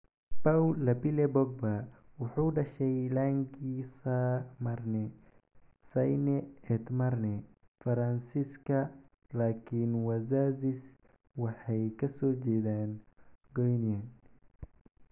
Paul Labile Pogba wuxuu dhashay Lagny-sur-Marne, Seine-et-Marne, Faransiiska, laakiin wazaziis waxay ka soo jeedaan Guinea.